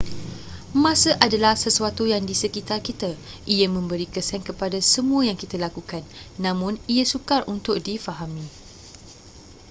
masa adalah sesuatu yang di sekitar kita ia memberi kesan kepada semua yang kita lakukan namun ia sukar untuk difahami